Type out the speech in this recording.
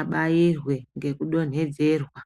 abairwe ngekudonhedzerwa.